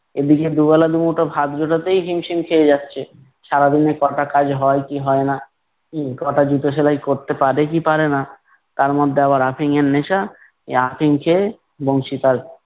এদিকে দুবেলা দুমুঠো ভাত জোটাতেই হিমশিম খেয়ে যাচ্ছে, সারাদিনে ক'টা কাজ হয় কি হয় না হম ক'টা জুতো সেলাই করতে পারে কি পারে না। তার মধ্যে আবার আফিম এর নেশা, এই আফিম খেয়ে বংশী তার